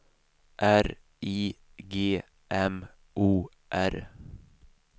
R I G M O R